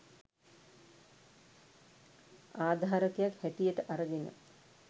ආධාරකයක් හැටියට අරගෙන